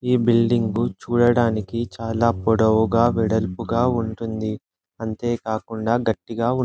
ఈ బిల్డింగ్ చుడానికి చాల పొడవుగా వెడలుపుగా ఉంటుంది. అంతే కాకుండా గట్టిగా ఉంటూ --